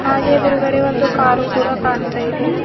ಹಾಗೆ ಎದ್ರುಗಡೆ ಒಂದು ಕಾರು ಕೂಡ ಕಾಣ್ತಾ ಇದೆ.